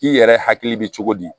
K'i yɛrɛ hakili bɛ cogo di